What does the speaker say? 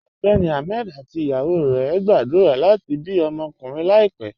Ọgbẹ́ni Ahmed àti ìyàwó rẹ̀ ń gbàdúrà láti bí ọmọkunrìǹ kàn láìpẹ̀.